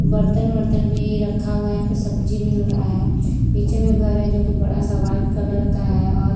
बर्तन वर्तन भी रखा हुआ है यहाँ पे सब्जी मिल रहा है पीछे में घर है जो की बड़ा सा वाइट कलर का है और--